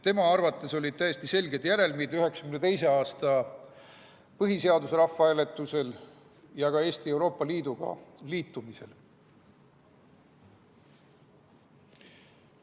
Tema arvates olid täiesti selged järelmid 1992. aasta põhiseaduse rahvahääletusel ja ka Eesti Euroopa Liiduga liitumise hääletusel.